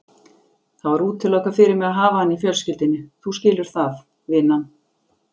Það var útilokað fyrir mig að hafa hann í fjölskyldunni, þú skilur það, vinan.